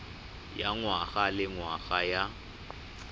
ya ngwaga le ngwaga ya